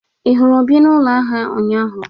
Ị hụrụ Obi na ụlọ ahịa ụnyaahụ?